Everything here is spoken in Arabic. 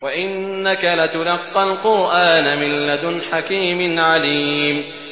وَإِنَّكَ لَتُلَقَّى الْقُرْآنَ مِن لَّدُنْ حَكِيمٍ عَلِيمٍ